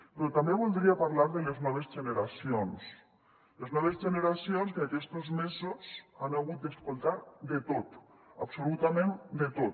però també voldria parlar de les noves generacions les noves generacions que aquestos mesos han hagut d’escoltar de tot absolutament de tot